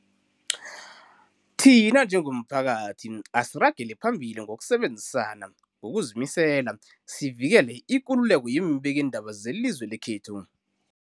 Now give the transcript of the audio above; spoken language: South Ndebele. Thina njengomphakathi, asiragele phambili ngokusebenzisana ngokuzimisela sivikele ikululeko yeembikiindaba zelizwe lekhethu.